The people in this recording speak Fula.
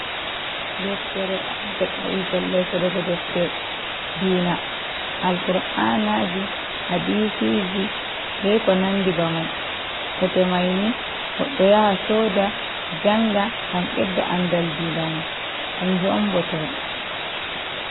Deftere a deb pellel sodogo deftere diina, alkur'anaji, hadisiji be konandi bemai. Botemaini godɗo yaha soda njanga ngam bedda andal dinama kanju'on bote mai.